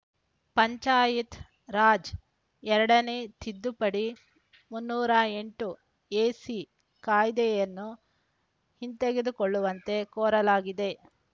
ಪಂಚಾಯತ್‌ ರಾಜ್‌ ಎರಡು ನೇ ತಿದ್ದುಪಡಿ ಮುನ್ನೂರ ಎಂಟು ಎಸಿ ಕಾಯ್ದೆಯನ್ನು ಹಿಂತೆಗೆದುಕೊಳ್ಳುವಂತೆ ಕೋರಲಾಗಿದೆ